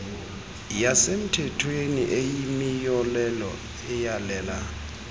yasemthethweni eyimiyolelo eyalela